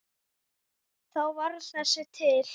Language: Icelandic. Þá varð þessi til.